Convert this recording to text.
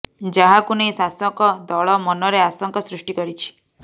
ଯାହାକୁ ନେଇ ଶାସକ ଦଳ ମନରେ ଆଶଙ୍କା ସୃଷ୍ଟି କରିଛି